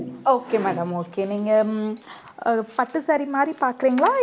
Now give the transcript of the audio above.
okay madam okay நீங்க அஹ் பட்டு saree மாதிரி பாக்குறீங்களா